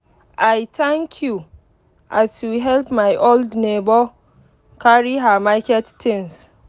i thank you as you help my old neighbour carry her market things.